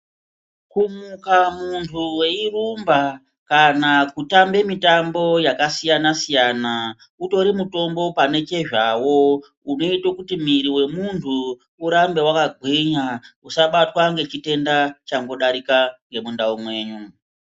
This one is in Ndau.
Kumuka munthu weirumba kana kutamba mitambo yakasiyana siyana utori mutombo pane chezvawo izvo zvinota kuti munthu arambe akagwinya uye usabatwe nechite chinenge chadarika muntharaunda.